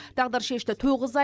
тағдыршешті тоғыз ай